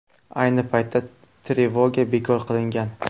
Ayni paytda trevoga bekor qilingan.